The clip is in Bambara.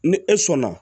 Ni e sɔnna